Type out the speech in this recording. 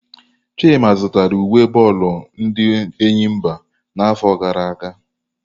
Chima zụtara uwe bọọlụ ndi Enyimba n'afọ gara aga.